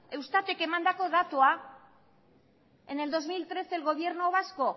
eustatek emandako datua en el dos mil trece el gobierno vasco